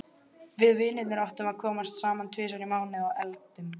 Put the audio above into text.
Við vinirnir átta komum saman tvisvar í mánuði og eldum.